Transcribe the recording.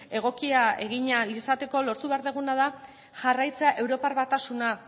egokia egin ahal izateko lortu behar duguna da jarraitzea europar batasuna